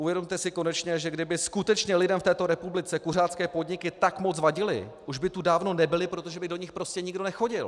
Uvědomte si konečně, že kdyby skutečně lidem v této republice kuřácké podniky tak moc vadily, už by tu dávno nebyly, protože by do nich prostě nikdo nechodil.